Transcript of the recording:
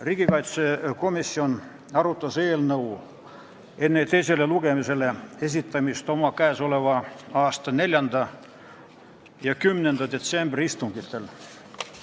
Riigikaitsekomisjon arutas eelnõu enne teisele lugemisele esitamist oma 4. ja 10. detsembri istungil.